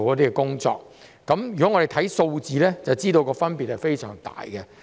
如果我們看看數字，就會知道分別非常大。